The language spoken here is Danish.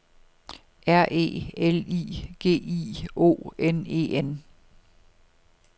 R E L I G I O N E N